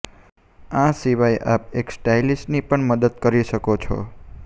આ સિવાય આપ એક સ્ટાઇલિસ્ટની પણ મદદ લઈ શકો છો